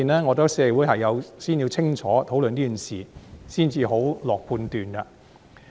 我覺得社會先要清楚討論這件事，才可下判斷。